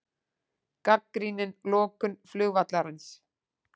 Gagnrýnir lokun flugvallarins